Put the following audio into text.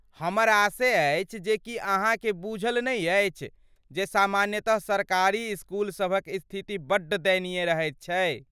हमर आशय अछि जे की अहाँके बुझल नहि अछि जे सामान्यतः सरकारी इसकुल सभक स्थिति बड्ड दयनीय रहैत छै?